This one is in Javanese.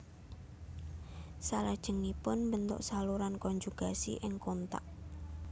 Salajengipun mbentuk saluran konjugasi ing kontak